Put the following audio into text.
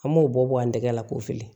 An m'o bɔ bɔn n tɛgɛ la k'o fili